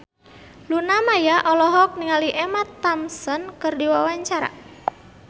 Luna Maya olohok ningali Emma Thompson keur diwawancara